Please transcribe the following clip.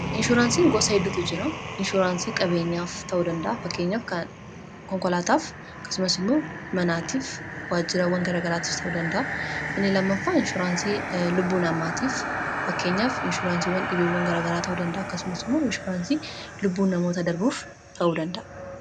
Inshuraansiin gosa hedduutu jira. Inshuuraansii qabeenyaaf ta'u danda'a. Fakkeenyaaf konkolaataaf akkasumas immoo manaatiif waajjiraawwan garaa garaatiif ta'uu danda'a inni lammaffaa inshuraansii lubbuu namaatiif fakkeenyaaf inshuuraansiiwwan dhibeewwan garagaraa tahuu danda'a kasumas immoo inshuraansii lubbuun namoota darbuuf ta'uu danda'a.